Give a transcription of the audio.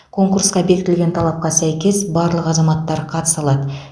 конкурсқа бекітілген талапқа сәйкес барлық азаматтар қатыса алады